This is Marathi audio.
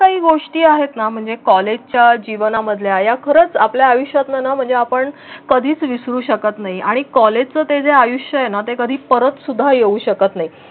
काही गोष्टी आहेत ना म्हणजे कॉलेजच्या जीवनामधल्या खरंच आपल्या आयुष्यात ना म्हणजे आपण कधीच विसरू शकत नाही आणि कॉलेज त्याचे आयुष्य हे नाते कधी परत सुद्धा येऊ शकत नाही.